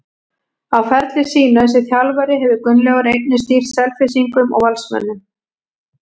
Á ferli sínum sem þjálfari hefur Gunnlaugur einnig stýrt Selfyssingum og Valsmönnum.